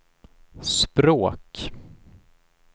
språk